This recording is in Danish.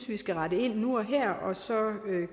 vi skal rette ind nu og her og så